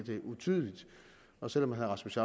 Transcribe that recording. utydeligt og selv om herre rasmus